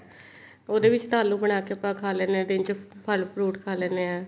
ਉਹਦੇ ਵਿੱਚ ਤਾਂ ਆਲੂ ਬਣਾ ਕੇ ਖਾ ਲੈਂਦੇ ਹਾਂ ਦਿਨ ਚ ਫ਼ੇਰ fruit ਖਾ ਲੈਂਨੇ ਆ